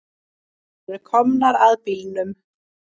Þær eru komnar að bílnum.